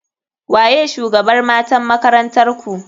Waye shugabr matan makarantarku?